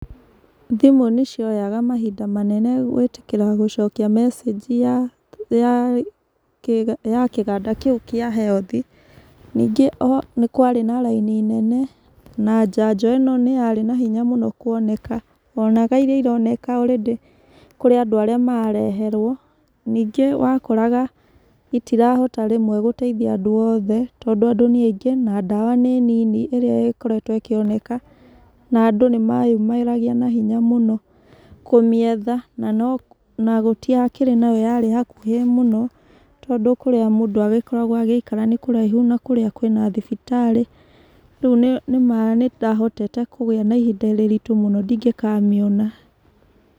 Thimũ nĩ cioyaga mahinda manene gũĩtĩkĩra gũcokia message ya kĩhanda kĩu kĩa health. Ningĩ nĩ kwarĩ na raini nene na njanjo ĩno nĩyarĩ nahinya kuoneka, wonaga iria ironeka already kirĩ andũ arĩa marareherwo. Nĩngĩ wakoraga citirahota rĩmwe gũteithia andũ othe, tondũ andũ nĩ aingĩ na ndawa nĩ nini, ĩrĩa ĩkoretwo ĩkĩoneka, na andũ nĩmeyumĩragia nahinya mũno, kũmĩetha, na gũtiakĩrĩ yakĩrĩ hakuhĩ mũno, tondũ kĩrĩa mũndũ agĩkoragwo agĩikara nĩkũraihu na kũrĩa kwĩna thibitarĩ, rĩu nĩndahotete kũgĩa na ihinda iritũ mũno ingĩkamĩona.